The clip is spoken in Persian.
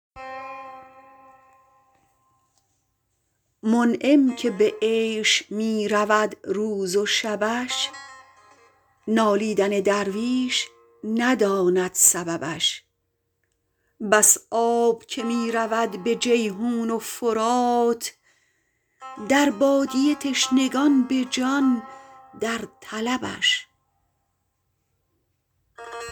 منعم که به عیش می رود روز و شبش نالیدن درویش نداند سببش بس آب که می رود به جیحون و فرات در بادیه تشنگان به جان در طلبش